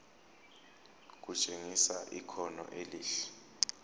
kutshengisa ikhono elihle